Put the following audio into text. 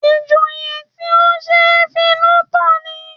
Ìjòyè tí ó ṣe é finú tán ni